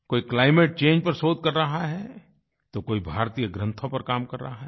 कोई climate change पर शोध कर रहा है तो कोई भारतीय ग्रंथों पर काम कर रहा है